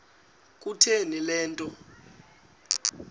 kutheni le nto